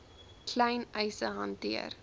klein eise hanteer